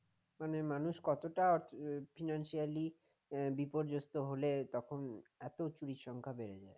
মানে মানুষ কতটা financially বিপর্যস্ত হলে তখন এত চুরির সংখ্যা বেড়ে যায়